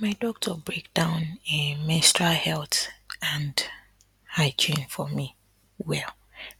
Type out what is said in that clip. my doctor break down um menstrual health and hygiene for me well